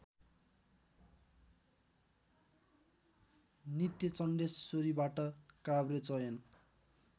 नित्यचण्डेश्वरीबाट काभ्रे चयन